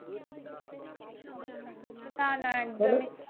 না না একদমই